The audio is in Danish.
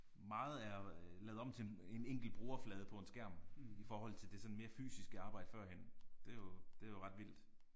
Meget er jo lavet om til en en enkelt brugerflade på en skærm i forhold til det sådan mere fysiske arbejde førhen det er jo det er jo ret vildt